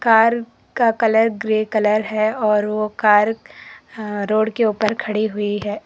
Car का colour grey colour है और वो कार रोड के ऊपर खड़ी हुई है।